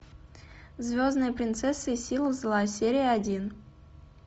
звездная принцесса и силы зла серия один